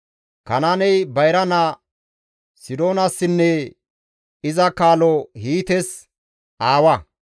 Kanaaney bayra naa Sidoonassinne iza kaalo Hiites aawa;